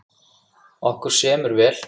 Okkur semur vel